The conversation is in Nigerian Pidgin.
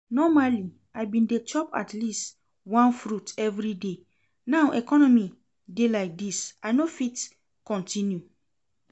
Normally I bin dey chop atleast one fruit everyday, now economy dey like dis I no fit continue